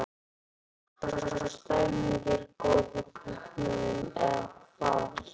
Svo stemningin er góð hjá kaupmönnum eða hvað Lillý?